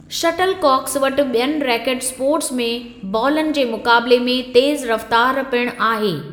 Shuttle COX वटि ॿियनि racket sports में बालनि जे मुक़ाबिले में तेज़ रफ़्तार पिण आहे।